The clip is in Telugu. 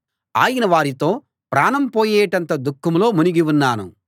ఆయన వారితో ప్రాణం పోయేటంత దుఃఖంలో మునిగి ఉన్నాను మీరు ఇక్కడే నిలిచి మెలకువగా ఉండండి అని చెప్పి